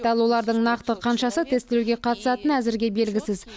ал олардың нақты қаншасы тестілеуге қатысатыны әзірге белгісіз